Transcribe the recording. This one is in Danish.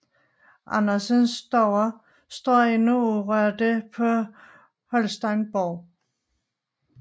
Andersens stuer står endnu urørte på Holsteinborg